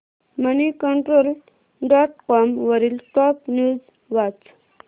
Moneycontrol dot com वरील top news वाच